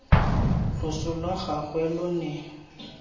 loso lwa gagwe lo ne